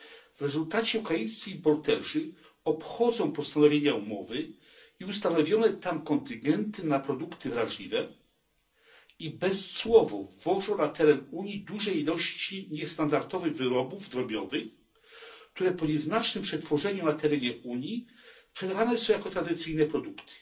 W rezultacie ukraińscy importerzy obchodzą postanowienia umowy i ustanowione tam kontyngenty na produkty wrażliwe i bezcłowo wwożą na teren Unii duże ilości niestandardowych wyrobów drobiowych, które po nieznacznym przetworzeniu na terenie Unii sprzedawane są jako tradycyjne produkty.